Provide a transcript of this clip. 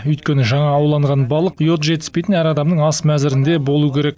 өйткені жаңа ауланған балық йод жетіспейтін әр адамның ас мәзірінде болу керек